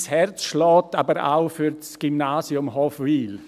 Mein Herz schlägt aber auch für das Gymnasium Hofwil.